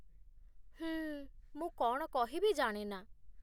ହୁଁ, ମୁଁ କ'ଣ କହିବି ଜାଣେ ନା।